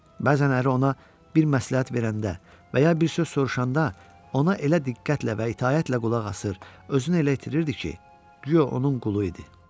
Bəzən əri ona bir məsləhət verəndə və ya bir söz soruşanda ona elə diqqətlə və itaətlə qulaq asır, özünü elə itirirdi ki, güya onun qulu idi.